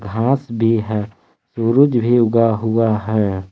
घास भी है सुरुज भी उगा हुआ है।